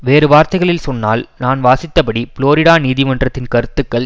வேறுவார்த்தைகளில் சொன்னால் நான் வாசித்தபடி புளோரிடா நீதிமன்றத்தின் கருத்துக்கள்